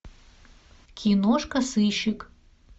киношка сыщик